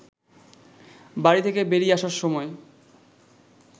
বাড়ি থেকে বেরিয়ে আসার সময়